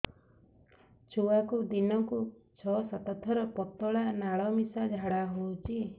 ଛୁଆକୁ ଦିନକୁ ଛଅ ସାତ ଥର ପତଳା ନାଳ ମିଶା ଝାଡ଼ା ହଉଚି